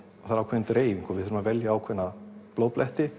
það er ákveðin dreifing og við þurfum að velja ákveðna